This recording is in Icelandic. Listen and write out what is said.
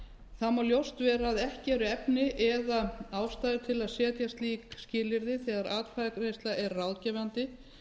þá má augljóst vera að ekki eru efni eða ástæður til að setja slík skilyrði þegar atkvæðagreiðsla er ráðgefandi